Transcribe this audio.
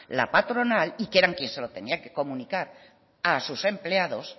la patronal y que eran quien se lo tenía que comunicar a sus empleados